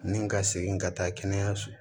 Ni n ka segin ka taa kɛnɛyaso